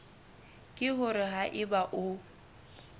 ke hore ha eba o